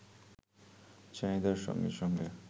চাহিদার সঙ্গে সঙ্গে